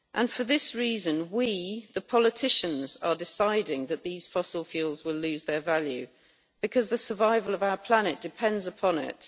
For this reason we, the politicians, are deciding that these fossil fuels will lose their value because the survival of our planet depends upon it.